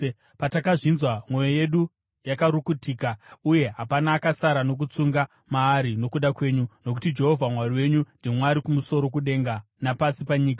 Patakazvinzwa mwoyo yedu yakarukutika, uye hapana akasara nokutsunga maari nokuda kwenyu, nokuti Jehovha Mwari wenyu ndiMwari kumusoro kudenga napasi panyika.